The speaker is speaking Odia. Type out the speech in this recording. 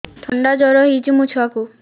ଥଣ୍ଡା ଜର ହେଇଚି ମୋ ଛୁଆକୁ